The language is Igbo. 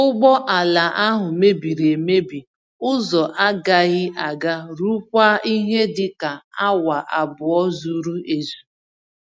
Ụgbọ ala ahụ mebiri emebi ụzọ-agaghị-aga ruokwa ihe dịka awa abụọ zuru-ezú.